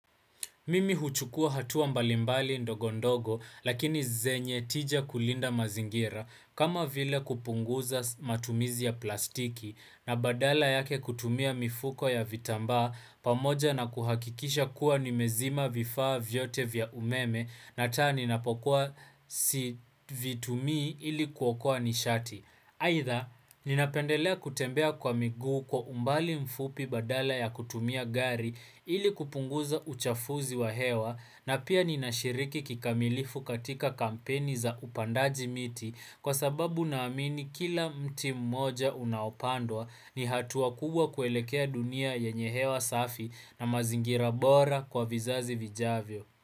Mimi huchukua hatua mbalimbali ndogo ndogo lakini zenye tija kulinda mazingira kama vile kupunguza matumizi ya plastiki na badala yake kutumia mifuko ya vitambaa pamoja na kuhakikisha kuwa nimezima vifaa vyote vya umeme na taa ni napokuwa si vitumi ili kuokoa nishati. Aidha, ninapendelea kutembea kwa miguu kwa umbali mfupi badala ya kutumia gari ili kupunguza uchafuzi wa hewa na pia ninashiriki kikamilifu katika kampeni za upandaji miti kwa sababu na amini kila mti mmoja unaopandwa ni hatuwa kubwa kuelekea dunia yenye hewa safi na mazingira bora kwa vizazi vijavyo.